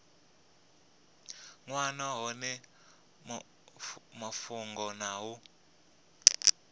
wana hone mafhungo na u